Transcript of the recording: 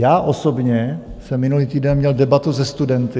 Já osobně jsem minulý týden měl debatu se studenty.